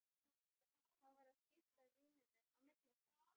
Hann var að skipta víninu á milli okkar!